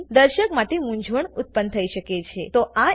આનાથી દર્શક માટે મૂંઝવણ ઉત્પન્ન થઇ શકે છે